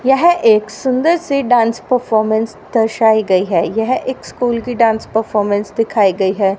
यह एक सुंदर सी डांस परफॉर्मेंस दर्शार्ई गई है यह एक स्कूल की डांस परफॉर्मेंस दिखाई गई है।